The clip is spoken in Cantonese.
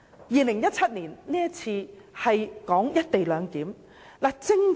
2017年出現了關乎"一地兩檢"的爭議。